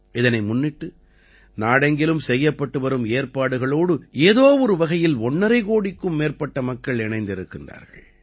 இதனை முன்னிட்டு நாடெங்கிலும் செய்யப்பட்டு வரும் ஏற்பாடுகளோடு ஏதோ ஒரு வகையில் ஒண்ணரை கோடிக்கும் மேற்பட்ட மக்கள் இணைந்திருக்கிறார்கள்